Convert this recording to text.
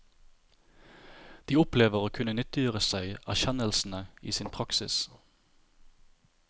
De opplever å kunne nyttiggjøre seg erkjennelsene i sin praksis.